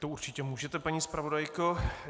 To určitě můžete, paní zpravodajko.